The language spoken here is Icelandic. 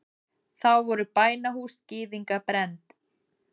Þá voru bænahús gyðinga brennd.